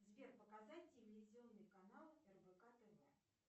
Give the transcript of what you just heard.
сбер показать телевизионный канал рбк тв